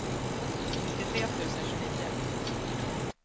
nittiotre tusen tjugonio